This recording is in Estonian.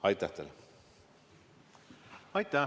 Aitäh teile!